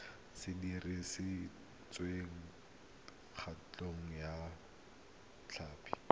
se dirisitswe thekontle ya tlhapi